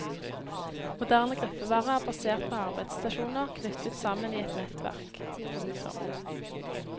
Moderne gruppevare er basert på arbeidsstasjoner knyttet sammen i et nettverk. punktum